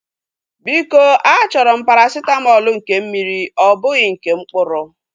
Biko a chọrọ m parasitamọlu nke mmiri ọ bụghị nke mkpụrụ